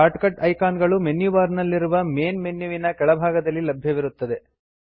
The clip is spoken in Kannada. ಶಾರ್ಟ್ ಕಟ್ ಐಕಾನ್ ಗಳು ಮೆನು ಬಾರ್ ನಲ್ಲಿರುವ ಮೇನ್ ಮೆನ್ಯುವಿನ ಕೆಳ ಭಾಗದಲ್ಲಿ ಲಭ್ಯವಿರುತ್ತವೆ